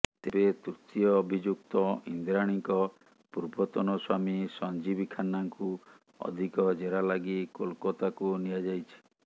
ତେବେ ତୃତୀୟ ଅଭିଯୁକ୍ତ ଇନ୍ଦ୍ରାଣୀଙ୍କ ପୂର୍ବତନ ସ୍ୱାମୀ ସଞ୍ଜୀବ ଖାନ୍ନାଙ୍କୁ ଅଧିକ ଜେରା ଲାଗି କୋଲକତାକୁ ନିଆଯାଇଛି